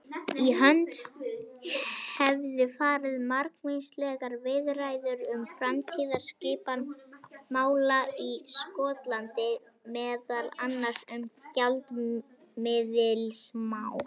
Í hönd hefðu farið margvíslegar viðræður um framtíðarskipan mála í Skotlandi, meðal annars um gjaldmiðilsmál.